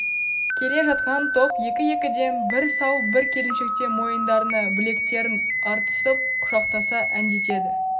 келе жатқан топ екі-екіден бір сал бір келіншектен мойындарына білектерін артысып құшақтаса әндетеді